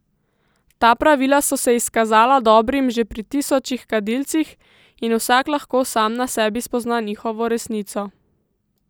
Ta pravila so se izkazala dobrim že pri tisočih kadilcih, in vsak lahko sam na sebi spozna njihovo resnico.